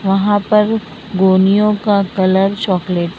वहां पर गोलियों का कलर चॉकलेट --